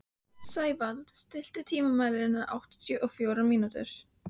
Sævald, stilltu tímamælinn á áttatíu og fjórar mínútur.